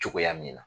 Cogoya min na